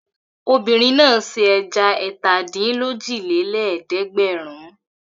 Obìnrin náà se ẹja ẹ̀tàdínlójìlélẹ́ẹ̀dẹ́gbẹ̀rún.